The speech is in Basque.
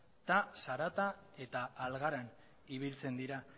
eta zaratan eta algaran ibiltzen dira